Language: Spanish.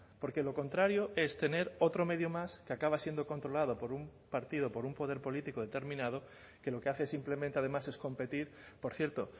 porque lo contrario es tener otro medio más que acaba siendo controlado por un partido por un poder político determinado que lo que hace es simplemente además es competir por cierto